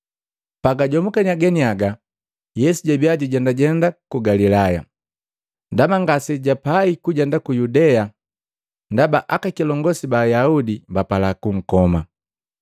Pagajomukiya ganiaga, Yesu jabia jakajendajenda mu Galilaya, ndaba ngasejapai kujenda ku Yudea ndaba aka kilongosi ba Ayaudi bapala kunkoma.